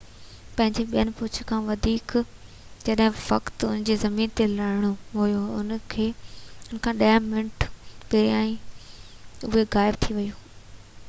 پنهنجي ٻئين پهچ کان جنهن وقت ان کي زمين تي لهڻو هيو ان کان ڏهه منٽ پهريان ئي اهو غائب ٿي ويو